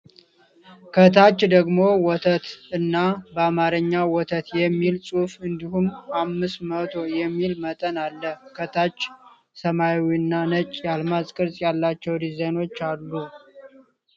ከታች ደግሞ 'ወተት' እና በአማርኛ 'ወተት' የሚል ጽሑፍ እንዲሁም '500' የሚል መጠን አለ። ከታች ሰማያዊና ነጭ የአልማዝ ቅርጽ ያላቸው ዲዛይኖች አሉ።